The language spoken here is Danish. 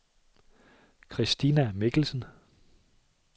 Christina Mikkelsen